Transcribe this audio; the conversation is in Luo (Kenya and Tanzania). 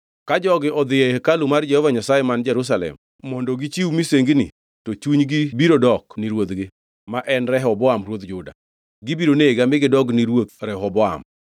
Ka jogi odhi e hekalu mar Jehova Nyasaye man Jerusalem mondo gichiw misengini, to chunygi biro dok ni ruodhgi, ma en Rehoboam ruodh Juda. Gibiro nega mi gidog ni Ruoth Rehoboam.”